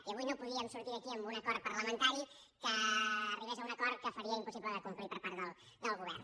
i avui no podíem sortir d’aquí amb un acord parlamentari que arribés a un acord que faria impossible de complir per part del govern